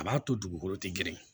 A b'a to dugukolo ti grin